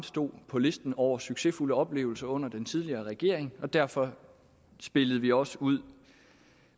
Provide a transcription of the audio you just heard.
stod på listen over succesfulde oplevelser under den tidligere regering og derfor spillede vi også ud